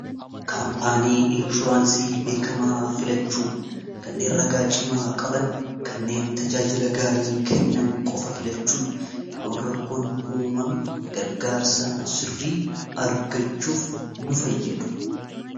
kaampaanii inshuraansii beekamaa filachuu kanneen ragaa cimaa qaban kanneen tajaajila gaarii kennan qofa filachuun yeroon rakkoon uumame gargaarsa sirrii argachuuf nu fayyadu